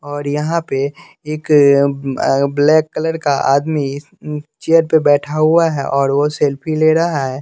और यहाँ पे एक ब्लैक कलर का आदमी चेयर पे बैठा हुआ है और वो सेल्फी ले रहा है।